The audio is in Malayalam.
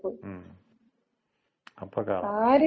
മ്മ് അപ്പക്കാള.